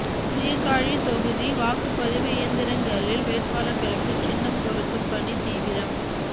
சீர்காழி தொகுதி வாக்குப்பதிவு இயந்திரங்களில் வேட்பாளர்களுக்கு சின்னம் பொருத்தும் பணி தீவிரம்